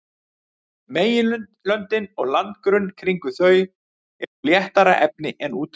Meginlöndin og landgrunn kringum þau eru úr léttara efni en úthöfin.